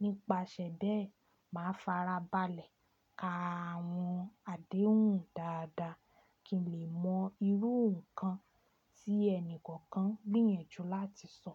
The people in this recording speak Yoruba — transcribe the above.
Nípasẹ̀ bẹ́ẹ̀, màá farabalẹ̀ ka àwọn àdéhùn dáadáa kí n lè mọ irú nǹkan tí ẹni kankan gbìyànjú láti sọ.